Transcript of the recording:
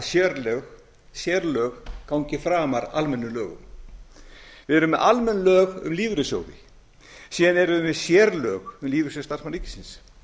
að sérlög gangi framar almennum lögum við erum með almenn lög um lífeyrissjóði síðan erum við með sérlög um lífeyrissjóð starfsmanna ríkisins